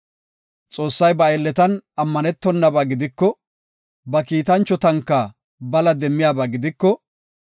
Xoossay ba aylletan ammanetonaba gidiko, ba kiitanchotanka bala demmiyaba gidiko,